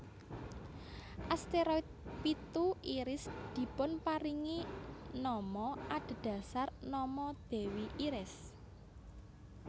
Asteroid pitu Iris dipunparingi nama adhedhasar nama dewi Iris